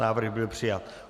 Návrh byl přijat.